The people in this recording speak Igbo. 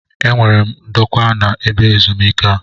E nwere m ndokwa na-ebe ezumike a.